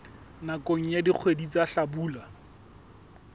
nakong ya dikgwedi tsa hlabula